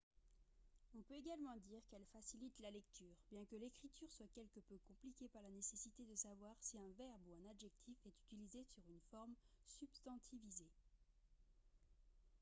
on peut également dire qu'elle facilite la lecture bien que l'écriture soit quelque peu compliquée par la nécessité de savoir si un verbe ou un adjectif est utilisé sous une forme substantivisée